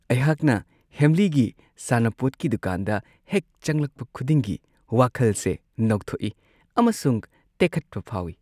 ꯑꯩꯍꯥꯛꯅ ꯍꯦꯝꯂꯤꯒꯤ ꯁꯥꯟꯅꯄꯣꯠꯀꯤ ꯗꯨꯀꯥꯟꯗ ꯍꯦꯛ ꯆꯪꯂꯛꯄ ꯈꯨꯗꯤꯡꯒꯤ ꯋꯥꯈꯜꯁꯦ ꯅꯧꯊꯣꯛꯏ ꯑꯃꯁꯨꯡ ꯇꯦꯛꯈꯠꯄ ꯐꯥꯎꯋꯤ !